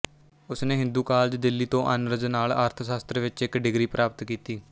ਉਸਨੇ ਹਿੰਦੂ ਕਾਲਜ ਦਿੱਲੀ ਤੋਂ ਆਨਰਜ਼ ਨਾਲ ਅਰਥ ਸ਼ਾਸਤਰ ਵਿੱਚ ਇੱਕ ਡਿਗਰੀ ਪ੍ਰਾਪਤ ਕੀਤੀ